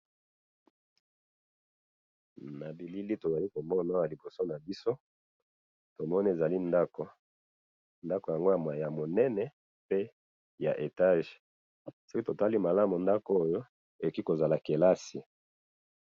na bilili tozali komona oyo na liboso na biso tomoni ezali ndako ndako yango ya munene pe ya etage soki totali malamu ndako oyo eliki kozala classe